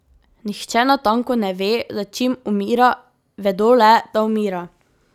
Nihče natanko ne ve, za čim umira, vedo le, da umira.